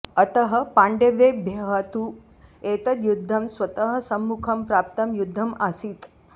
अतः पाण्डवेभ्यः तु एतद्युद्धं स्वतः सम्मुखं प्राप्तं युद्धम् आसीत्